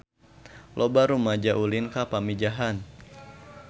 Loba rumaja ulin ka Pamijahan